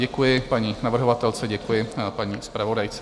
Děkuji paní navrhovatelce, děkuji paní zpravodajce.